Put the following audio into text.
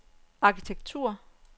arkitektur